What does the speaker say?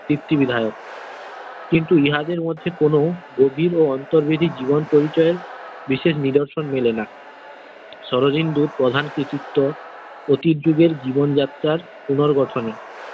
সৃষ্টি বিধায়ক কিন্তু ইহাদের মধ্যে কোন অন্তরবিধি জীবন পরিচয়ের বিশেষ নিদর্শন মেলে না শরদিন্দুর প্রধান কৃতিত্ব অতি যুগের জীবন যাত্রার পুনর্গঠনে।